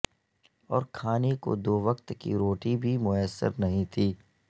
اور کھانے کو دو وقت کی روٹی بھی میسر نہیں تھی